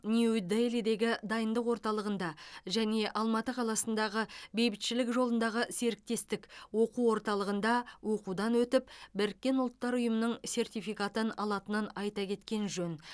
нью делидегі дайындық орталығында және алматы қаласындағы бейбітшілік жолындағы серіктестік оқу орталығында оқудан өтіп біріккен ұлттар ұйымының сертификатын алатынын айта кеткен жөн